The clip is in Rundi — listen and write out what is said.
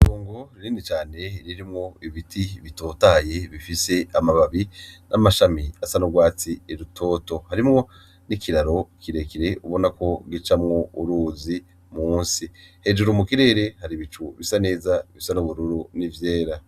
Itongo rinini cane ririmwo ibiti bitotahaye bifise amababi n'amashami asa n'urwatsi rutoto, harimwo n'ikiraro kirekire ubona ko gicamwo uruzi musi, hejuru mu kirere hari ibicu bisa neza bisa n'ubururu n'ivyera.